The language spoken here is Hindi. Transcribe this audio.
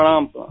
प्रणाम प्रणाम